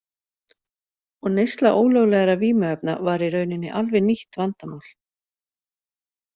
Og neysla ólöglegra vímuefna var í rauninni alveg nýtt vandamál.